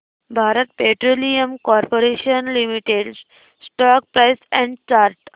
Bharat petroleum corporation limited stock price and chart